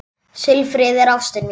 Silfrið er ástin mín.